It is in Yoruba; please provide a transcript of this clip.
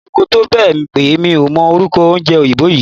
Mo luko tó bẹ̀ pé mi ò mọ orúkọ oúnjẹ òyìnbó yí.